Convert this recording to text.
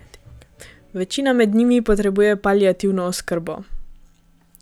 Večina med njimi potrebuje paliativno oskrbo.